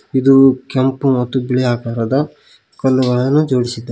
ಇದು ಕೆಂಪು ಮತ್ತು ಬಿಳಿ ಆಕಾರದ ಕಲ್ಲುಗಳನು ಜೋಡಿಸಿದ್ದಾ--